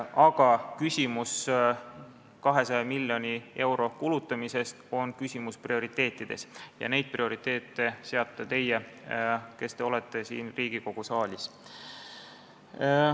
Aga 200 miljoni euro kulutamine on küsimus prioriteetidest ja neid prioriteete seate teie, kes te olete siin Riigikogu saalis.